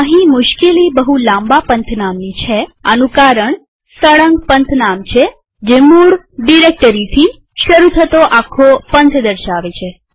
અહીં મુશ્કેલી બહું લાંબા પંથનામની છે આનું કારણ તે સળંગએબ્સોલ્યુટ પંથનામ છે જે મૂળરૂટ ડિરેક્ટરીથી શરુ થતો આખો પંથ દર્શાવે છે